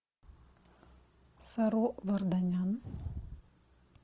саро варданян